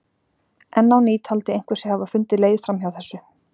Enn á ný taldi einhver sig hafa fundið leið fram hjá þessu.